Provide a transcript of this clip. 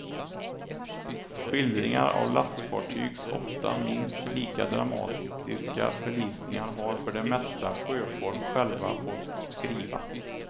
Skildringar av lastfartygs ofta minst lika dramatiska förlisningar har för det mesta sjöfolk själva fått skriva.